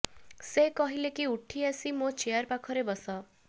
ସେ କହିଲେ କି ଉଠି ଆସି ମୋ ଚେୟାର୍ ପାଖରେ ବସ